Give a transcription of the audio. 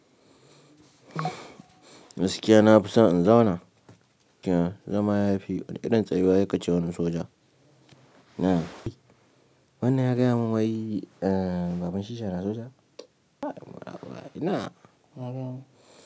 Gaskiya na fi so in zauna zama yafi wani irin tsayuwa sai kace wani soja. Wannan ya gaya mun wai baban shi yana soja. Ina.